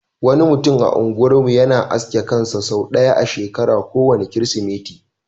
Wani mutumin a unguwar mu yana aske kansa sau ɗaya a shekara, ko wanne kirismeti.